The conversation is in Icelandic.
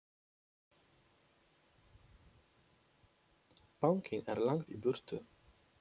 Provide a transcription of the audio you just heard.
Bankinn er langt í burtu.